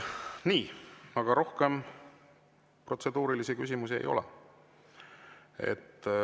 " Nii, rohkem protseduurilisi küsimusi ei ole.